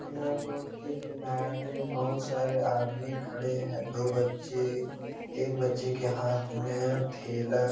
यह रोड के किनारे बहुत सारे आदमी खड़े हैं दो बच्चे एक बच्चे के हाथ में थेला --